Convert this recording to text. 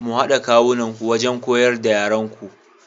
Ku hada kawunanku wajen koyar da yaranku.